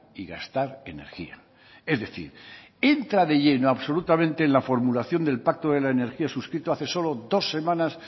y gastar energía es decir entra de lleno absolutamente en la formulación del pacto de la energía suscrito hace solo dos semanas